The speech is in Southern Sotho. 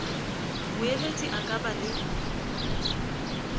moeletsi a ka ba le